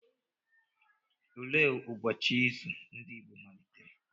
Olee ụbọchị izu ndị Igbo malitere?